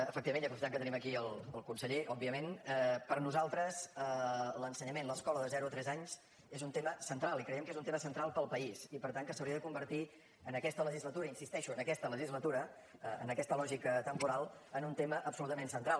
efectivament i aprofitant que tenim aquí el conseller òbviament per nosaltres l’ensenyament l’escola de zero a tres anys és un tema central i creiem que és un tema central per al país i per tant que s’hauria de convertir en aquesta legislatura hi insisteixo en aquesta legislatura en aquesta lògica temporal en un tema absolutament central